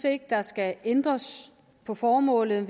ikke der skal ændres på formålet